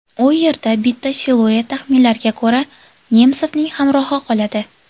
U yerda bitta siluet taxminlarga ko‘ra, Nemsovning hamrohi qoladi.